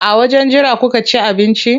A wajen jira kuka ci abinci?